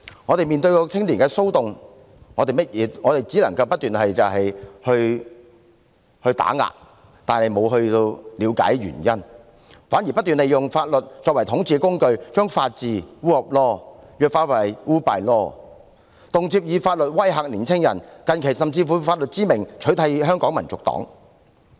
政府面對青年騷動，只是不停地打壓，卻沒有了解原因，反而不斷用法律作為統治工具，將法治弱化為 rule by law， 動輒以法律威嚇年青人，近期甚至以法律之名取締香港民族黨。